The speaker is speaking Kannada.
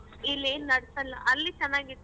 ಇಲ್ಲಿ ಏನ್ ನಡ್ಸಲ್ಲ ಅಲ್ಲಿ ಚನಾಗಿತ್ತು.